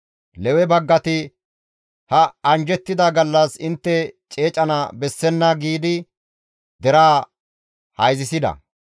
Lewe baggati, «Ha anjjettida gallas intte ceecana bessenna» giidi deraa hayzissida.